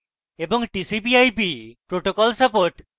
tcp/ip protocol support